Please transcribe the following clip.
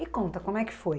E conta, como é que foi?